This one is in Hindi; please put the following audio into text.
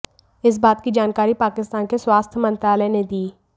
इस बात की जानकारी पाकिस्तान के स्वास्थ्य मंत्रालय ने दी